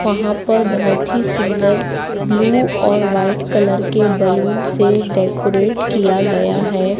वहां पर बहोत ही सुन्दर ब्लू और व्हाइट कलर के बलून से डेकोरेट किया गया है।